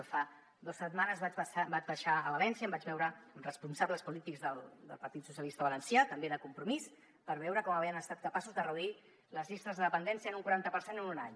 jo fa dos setmanes vaig baixar a valència i em vaig veure amb responsables polítics del partit socialista valencià també de compromís per veure com havien estat capaços de reduir les llistes de dependència en un quaranta per cent en un any